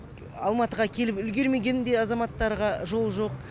алматыға келіп үлгермеген де азаматтарға жол жоқ